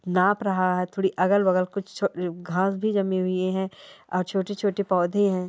नाप रहा है थोड़ी अगल बगल कुछ घास भी जमी हुई है और छोटे छोटे पौधे हैं।